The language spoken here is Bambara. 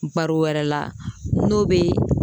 Baro wɛrɛ la n'o be